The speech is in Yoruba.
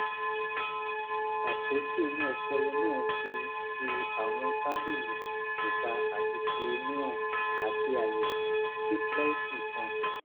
àpótí inú ọpọlọ náà fi fi àwọn tábìlì ìta àti ti inú hàn àti àyè díplóìkì kan